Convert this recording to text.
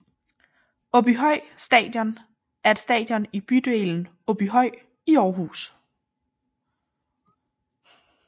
Aabyhøj Stadion er et stadion i bydelen Åbyhøj i Aarhus